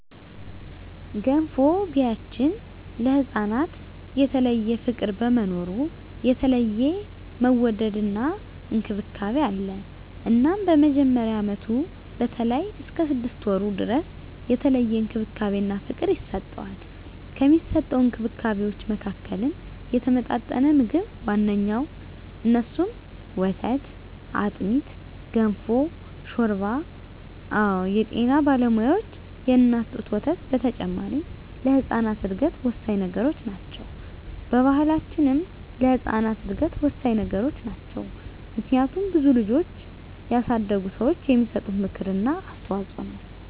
በገንፎ ቢያችን ለህፃናት የተለየ ፍቅር በመኖሩ የተለየ መወደድና እንክብካቤ አለ እናም በመጀመሪያ አመቱ በተለይም እስከ ስድስት ወሩ ድረስ የተለየ እንክብካቤና ፍቅር ይሰጠዋል። ከሚሰጠዉ እንክብካቤወች መካከልም የተመጣጠነ ምግብ ዋነኛዉ እነሱም፦ ወተት፣ አጥሚት፣ ገንፎ፣ ሾርባ አወ የጤና ባለሙያዋች የእናት ጡት ወተት በተጨማሪ ለህጻናት እድገት ወሳኚ ነገሮች ናቸው። በባሕላችንም ለህጻናት እድገት ወሳኚ ነገሮች ናቸው። ምክንያቱም ብዙ ልጆችን ያሳደጉ ሰዋች የሚሰጡት ምክር እና አስተዋጾ ነው።